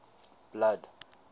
blood